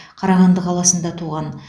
қарағанды қаласында туған